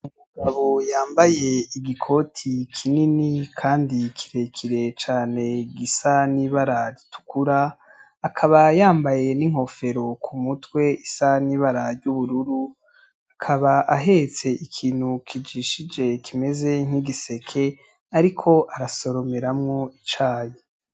Umugabo yambaye igikoti kinini kandi kirekire cane gisa n'ibara ritukura, akaba yambaye n'inkofero ku mutwe isa n'ibara ry'ubururu, akaba ahetse ikintu kijishije kimeze nk'igiseke ariko arasoromeramwo icayi.